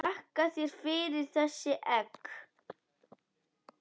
Þakka þér fyrir þessi egg.